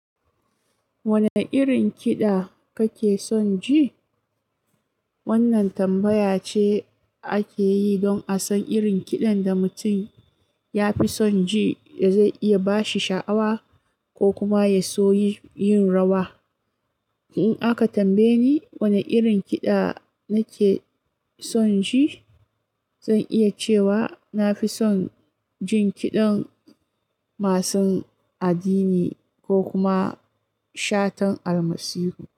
"Wane irin kiɗa kake son ji?" Wannan tambaya ce ake yi don a san irin kiɗan da mutum ya fi son ji da zai iya ba shi sha'awa ko kuma ya so yin rawa. In aka tambaye ni wane irin kiɗa nake son ji, zan iya cewa na fi son jin kiɗan masu addini ko kuma shatan almasiru.